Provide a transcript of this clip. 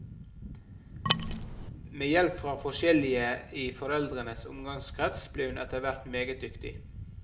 Med hjelp fra forskjellige i foreldrenes omgangskrets ble hun etterhvert meget dyktig.